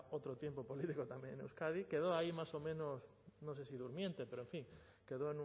otro tiempo político también en euskadi quedó ahí más o menos no sé si durmiente pero en fin quedó